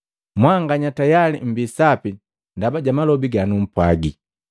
Mwanganya tayali mmbi sapi ndaba ja malobi ganumpwagi.